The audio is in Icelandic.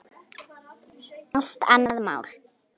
Allt annað mál.